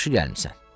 "Yaxşı gəlmisən.